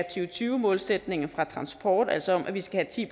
og tyve målsætningen fra transport altså om at vi skal have ti